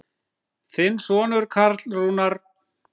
Þinn sonur Karl Rúnar.